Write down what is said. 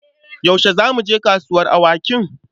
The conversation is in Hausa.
Yaushe za mu je kasuwar awakin?